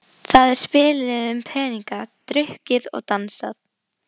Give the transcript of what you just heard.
Það er spilað um peninga, drukkið og dansað.